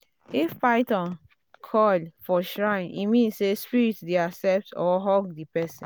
if python coil for shrine e mean say spirit dey accept or hug the person.